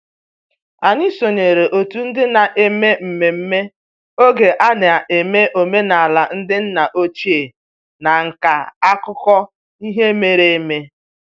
Anyị sonyeere otu ndị na-eme mmemme oge a na-eme omenala ndị nna ochie na nka akụkọ ihe mere eme